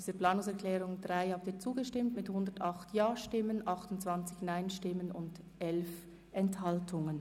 Sie haben dieser Planungserklärung zugestimmt mit 108 Ja- gegen 28 Nein-Stimmen bei 11 Enthaltungen.